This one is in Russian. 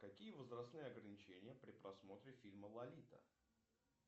какие возрастные ограничения при просмотре фильма лолита